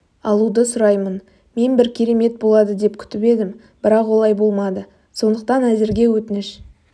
алуды сұраймын мен бір керемет болады деп күтіп едім бірақ олай болмады сондықтан әзірге өтініш